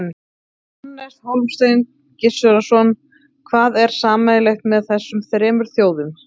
Hannes Hólmsteinn Gissurarson: Hvað er sameiginlegt með þessum þremur þjóðum?